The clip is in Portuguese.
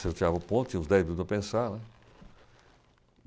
Se eu tirava o ponto, tinha uns dez minutos para pensar, né?